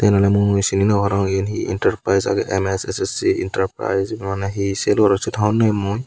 Mane mui cini no parong iyan he enterprise age M_S S_S enterprise Mane he sell goron hobor nw pem mui.